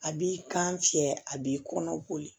A b'i kan fiyɛ a b'i kɔnɔ ko de